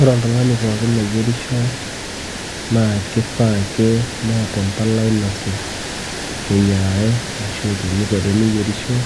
ore oltung'ani pookin oyierisho naa kifaa ake neeta empalai nasuj teyiarare ashu teniko teneyierisho